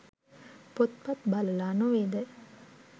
පොත්පත් බලලා නොවෙද?